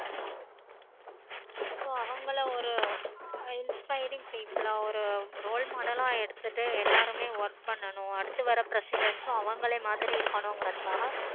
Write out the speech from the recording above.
ஓ so அவங்கள ஒரு inspiring people ஆஹ் ஒரு role model ல எடுத்துட்டு எல்லாருமே work பண்ணனும். அடுத்து வர presidence உம் அவங்கள மாதிரியே இருக்கணும் கிறதுக்காக